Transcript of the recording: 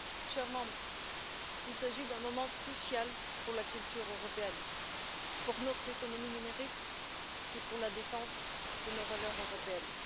Chers députés, il s'agit d'un moment crucial pour la culture européenne, pour notre économie numérique et pour la défense de nos valeurs européennes.